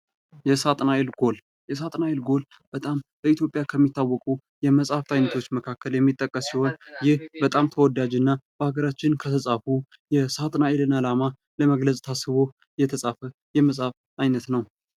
የእሳትናኤል ጎል፡- የእሳትናኤል ጎል በጣም ለኢትዮጵያ ከሚታወቁ የመጽሀፍ አይነቶች መካከል የሚጠቀስ ሲሆን ይህ ይህ በጣም ተወዳጅና በሀገራችን ከተፃፉ ሳትናኤልን ዓላማ ለመግለጽ ታስቦ የተፃፈ የመጽሐፍ አይነት ነው ።